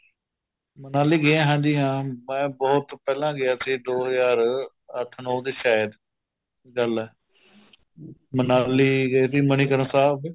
ਮਨਾਲੀ ਗਿਆ ਹਾਂਜੀ ਹਾਂ ਮੈ ਬਹੁਤ ਪਹਿਲਾਂ ਗਿਆ ਸੀ ਦੋ ਹਜ਼ਾਰ ਦੇ ਅੱਠ ਨੋ ਸ਼ਾਇਦ ਗੱਲ ਏ ਮਨਾਲੀ ਗਏ ਤੀ ਮਨੀਕਰਣ ਸਾਹਿਬ